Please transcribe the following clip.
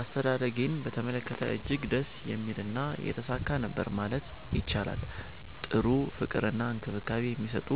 አስተዳደጌን በተመለከተ እጅግ ደስ የሚልና የተሳካ ነበር ማለት ይቻላል። ጥሩ ፍቅር እና እንክብካቤ የሚሰጡ፤